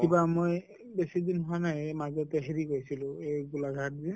কিবা মই বেছি দিন হোৱা নাই এই মাজতে হেৰি গৈছিলো গোলাঘাট যে